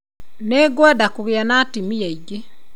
Nĩngwenda kũgĩa na atumia aingĩ